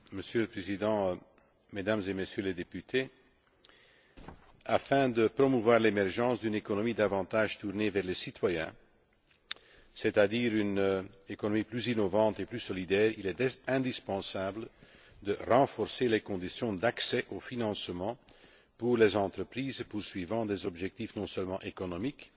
Monsieur le Président, Mesdames et Messieurs les députés, afin de promouvoir l'émergence d'une économie davantage tournée vers les citoyens, c'est à dire une économie plus innovante et plus solidaire, il est indispensable de renforcer les conditions d'accès au financement pour les entreprises poursuivant des objectifs non seulement économiques,